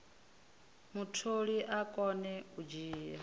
mutholi a kone u dzhia